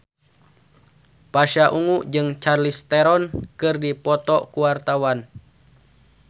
Pasha Ungu jeung Charlize Theron keur dipoto ku wartawan